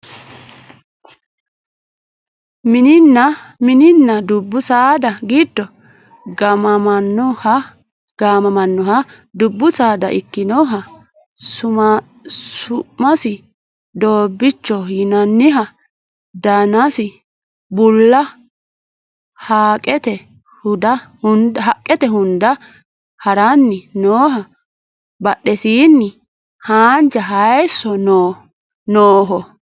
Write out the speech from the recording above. Mininna dubbu saada giddo gaamamannoha dubbu saada ikkinoha su'masi doobbiichoho yinanniha danasi bulla haqqete hunda haranni nooha badhesiinni haanja hayiisso nooho